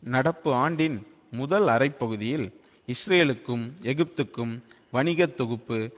நடப்பு ஆண்டின் முதல் அரைப்பகுதியில் இஸ்ரேலுக்கும் எகிப்துக்கும் வணிக தொகுப்பு